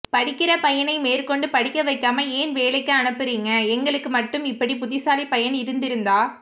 படிக்கற பையனை மேற்கொண்டு படிக்கவைக்காம ஏன் வேலைக்கு அனுப்பரீங்க எங்களுக்கு மட்டும் இப்படி புத்திசாலிபையன் இருந்திருந்தா